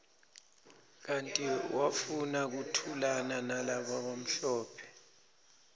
kanti wafuna kuthulanalabamhlophe